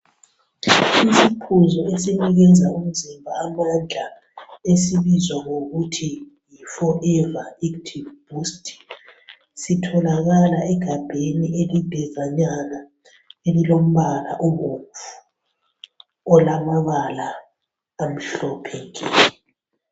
Isiphuzo esinikeza umzimba amandla esibizwa ngokuthi forever active boost sitholakala egabheni elidanyana elilombala obomvu olamabala amhlophe nke.